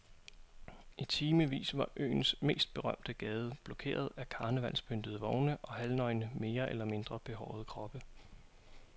I timevis var øens mest berømte gade blokeret af karnevalspyntede vogne og halvnøgne mere eller mindre behårede kroppe.